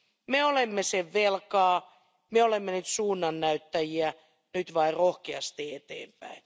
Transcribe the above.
Me olemme sen velkaa, me olemme nyt suunnannäyttäjiä, nyt vain rohkeasti eteenpäin.